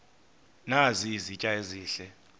nazi izitya ezihle